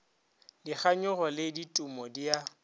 dikganyogo le ditumo di a